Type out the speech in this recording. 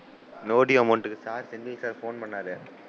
No due amount க்கு Sir Senthil sir phone பண்ணாரு,